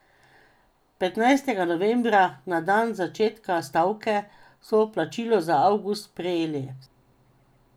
Petnajstega novembra, na dan začetka stavke, so plačilo za avgust prejeli.